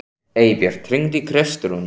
Eybjört, hringdu í Kristrúnu.